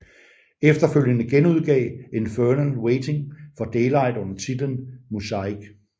Efterfølgende genudgav Infernal Waiting for Daylight under titlen Muzaik